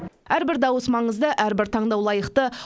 әрбір дауыс маңызды әрбір таңдау лайықты